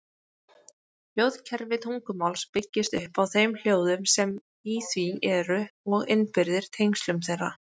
Hljóðkerfi tungumáls byggist upp á þeim hljóðum sem í því eru og innbyrðis tengslum þeirra.